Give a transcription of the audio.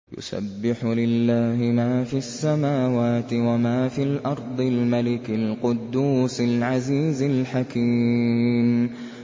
يُسَبِّحُ لِلَّهِ مَا فِي السَّمَاوَاتِ وَمَا فِي الْأَرْضِ الْمَلِكِ الْقُدُّوسِ الْعَزِيزِ الْحَكِيمِ